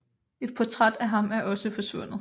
Et portræt af ham er også forsvundet